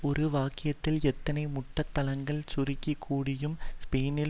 ஒரு வாக்கியத்தில் எத்தனை முட்டள்தனங்களைச் சுருக்கி கூறமுடியும் ஸ்பெயினில்